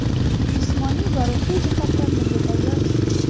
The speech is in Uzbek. Jismoniy va ruhiy jihatdan bunga tayyorman.